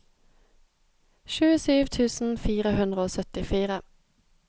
tjuesju tusen fire hundre og syttifire